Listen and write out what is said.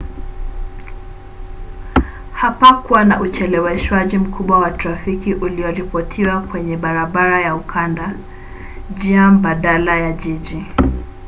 hapakuwa na ucheleweshwaji mkubwa wa trafiki ulioripotiwa kwenye barabara ya ukanda njia mbadala ya jiji